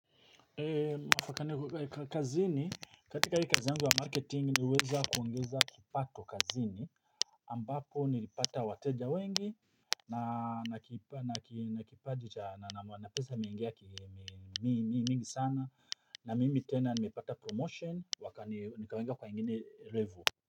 Kazini katika hii kazi yangu ya marketing niliweza kuongeza kipato kazini ambapo nilipata wateja wengi na na kipa na na kipaji cha na pesa imeingia mi mingi sana na mimi tena nimepata promotion wakani nikawekwa kwa ingine level.